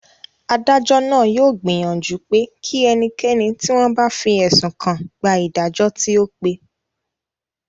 Adájọ́ náà yóò gbìyànjú pé kí ẹnikẹ́ni tí wọ́n bá fi ẹ̀sùn kàn gba ìdájọ́ tí ó pé